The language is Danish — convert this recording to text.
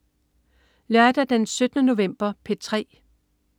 Lørdag den 17. november - P3: